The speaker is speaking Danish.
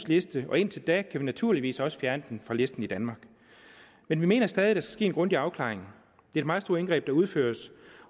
liste indtil da kan vi naturligvis også fjerne det fra listen i danmark men vi mener stadig at der skal ske en grundig afklaring det er meget store indgreb der udføres